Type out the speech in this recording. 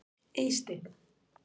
Eysteinn